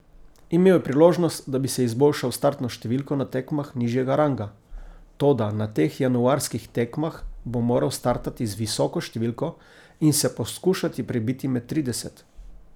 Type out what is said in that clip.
Imel je priložnost, da bi si izboljšal startno številko na tekmah nižjega ranga, toda na teh januarskih tekmah bo moral startati z visoko številko in se poskušati prebiti med trideset.